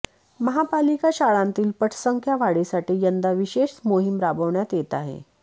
महापालिका शाळांतील पटसंख्या वाढीसाठी यंदा विशेष मोहीम राबवण्यात येत आहे